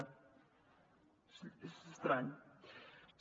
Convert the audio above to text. és estrany